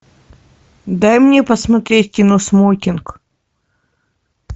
дай мне посмотреть кино смокинг